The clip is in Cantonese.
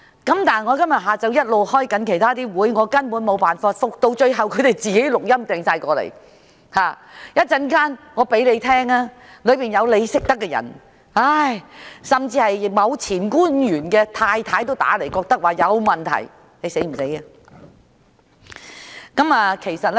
不過，我下午一直要開會，無法回覆他們，最後，他們各自留下錄音信息，我稍後播給局長聽聽，當中有他認識的人，甚至某位前官員的太太也來電說覺得有問題，這是何等嚴重呢！